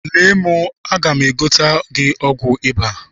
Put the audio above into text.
Lee m, aga m egotere gị ọgwụ ịba.